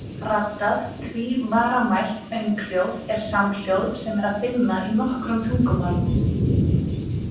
Raddað tvívaramælt önghljóð er samhljóð sem er að finna í nokkrum tungumálum.